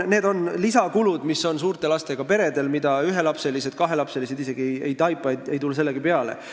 Suurtel lastega peredel on sellised lisakulud, ühe- ja kahelapselised isegi ei tule selle peale.